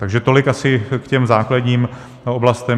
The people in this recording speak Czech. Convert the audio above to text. Takže tolik asi k těm základním oblastem.